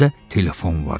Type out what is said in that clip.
Dəhlizdə telefon var idi.